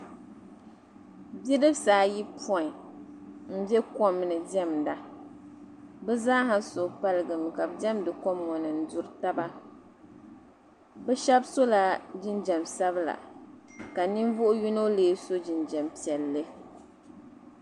Bi'dibisi ayi pɔi m-be kom ni diɛmda be zaa ha suhupaligimi ka be diɛmdi kom ŋɔ ni n-duri taba be shɛba sola jinjam sabila ka ninvuhi yino lee so jinjam piɛlli.